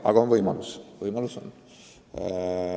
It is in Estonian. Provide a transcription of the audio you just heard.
Aga võimalus on.